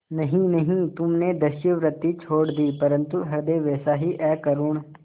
नहीं नहीं तुमने दस्युवृत्ति छोड़ दी परंतु हृदय वैसा ही अकरूण